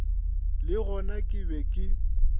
le gona ke be ke